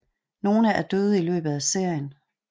Nogle er døde i løbet af serien